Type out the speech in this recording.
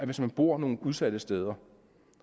hvis man bor nogle udsatte steder